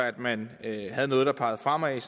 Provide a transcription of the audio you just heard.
at man havde noget der pegede fremad